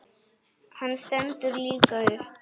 Hann stendur líka upp.